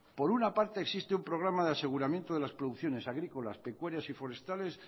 por una parte existe un programa de aseguramiento de las producciones agrícolas pecuarias y forestales